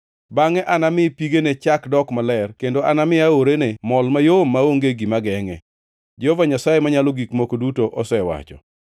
Bangʼe anami pigene chak dok maler kendo anami aorene mol mayom, maonge gima gengʼe. Jehova Nyasaye Manyalo Gik Moko Duto osewacho.’